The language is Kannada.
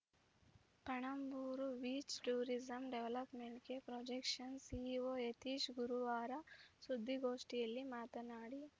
ಪಣಂಬೂರು ಬೀಚ್‌ ಟೂರಿಸಂ ಡೆವಲಪ್‌ಮೆಂಟ್‌ಗೆ ಪ್ರೊಜೆಕ್ಟ್ನ ಸಿಇಒ ಯತೀಶ್‌ ಗುರುವಾರ ಸುದ್ದಿಗೋಷ್ಠಿಯಲ್ಲಿ ಮಾತನಾಡಿ